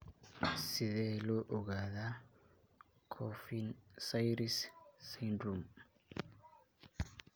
Sidee loo ogaadaa Coffin Siris syndrome?